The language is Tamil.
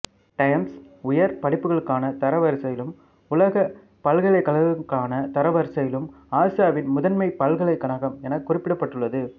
டைம்ஸ் உயர் படிப்புகளுக்கான தரவரிசையிலும் உலக பல்கலைக்கழகங்களுக்கான தரவரிசையிலும் ஆசியாவின் முதன்மை பல்கலைக்கழகம் எனக் குறிப்பிடப்பட்டுள்ளது